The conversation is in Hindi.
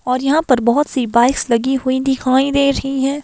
और यहां पर बहुत सी बाइक्स लगी हुई दिखाई दे रही है।